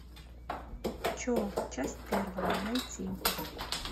че часть первая найти